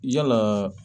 Yalaa